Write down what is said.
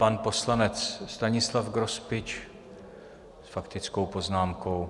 Pan poslanec Stanislav Grospič s faktickou poznámkou.